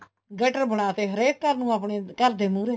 gutter ਬਣਾ ਤੇ ਹਰੇਕ ਘਰ ਨੂੰ ਆਪਣੇ ਘਰ ਦੇ ਮੁਹਰੇ